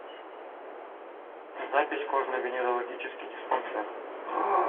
запись кожно венерологический диспансер